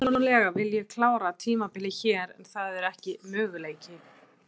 Persónulega vil ég klára tímabilið hér en það er ekki möguleiki.